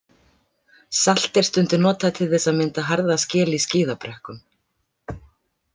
Salt er stundum notað til þess að mynda harða skel í skíðabrekkum.